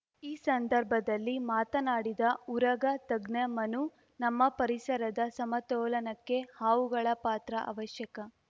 ಈ ಸಂದರ್ಭದಲ್ಲಿ ಮಾತನಾಡಿದ ಉರಗ ತಜ್ಞ ಮನು ನಮ್ಮ ಪರಿಸರದ ಸಮತೋಲನಕ್ಕೆ ಹಾವುಗಳ ಪಾತ್ರ ಅವಶ್ಯಕ